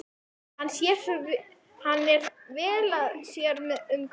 Hann er svo vel að sér um gömlu